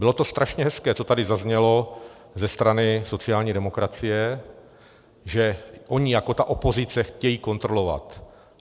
Bylo to strašně hezké, co tady zaznělo ze strany sociální demokracie, že oni jako ta opozice chtějí kontrolovat.